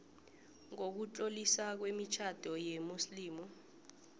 nokutloliswa kwemitjhado yesimuslimu